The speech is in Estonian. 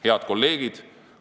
Head kolleegid!